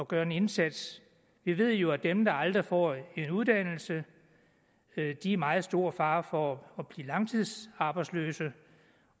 gøre en indsats vi ved jo at dem der aldrig får en uddannelse er i meget stor fare for at blive langtidsarbejdsløse